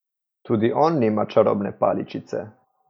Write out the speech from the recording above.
Tudi on nima čarobne paličice.